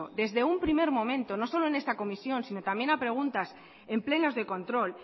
desde un primer momento no solo en esta comisión sino también a preguntas en plenos de control